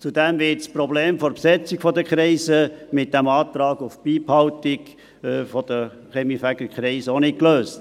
Zudem wird mit dem Antrag auf Beibehaltung der Kaminfegerkreise das Problem der Besetzung der Kreise auch nicht gelöst.